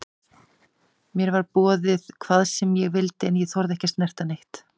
Mér var boðið hvað sem ég vildi en ég þorði ekki að snerta neitt.